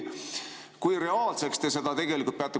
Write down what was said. Kui reaalseks te seda peate?